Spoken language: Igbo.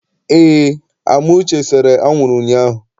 Eé, Amuche sere anwụrụ ụnyaahụ.